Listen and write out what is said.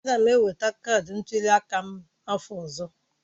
Aga m enweta kaadị ntuli aka m n'afọ ọzọ.